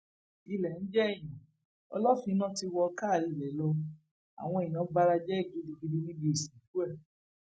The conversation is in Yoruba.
ilẹ ń jèèyàn ọlọfínà ti wọ káa ilé lọ àwọn èèyàn bara jẹ gidigidi níbi ìsìnkú ẹ